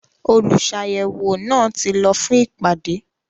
“ Olùsàyẹ̀wò” náà ti lọ fún ìpàdé.